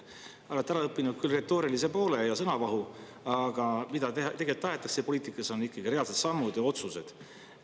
Olete ära õppinud küll retoorilise poole ja sõnavahu, aga see, mida tegelikult tahetakse poliitikas, on ikkagi reaalsed sammud ja otsused.